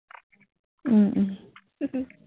উম উম